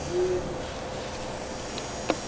ntsundeni